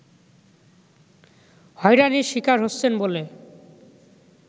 হয়রানির শিকার হচ্ছেন বলে